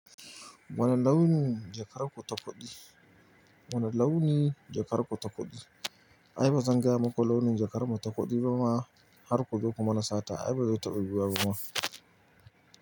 Wane launi jakar ku ta kuɗi? Wane launi jakar ku ta kuɗi? Ai bazan gaya muku launin jakar mu ta kuɗi ba ma har ku zo ku mana sata. Ai ba zai taɓa yiwuwa ba kuma.